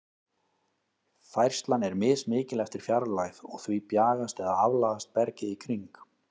Færslan er mismikil eftir fjarlægð, og því bjagast eða aflagast bergið í kring.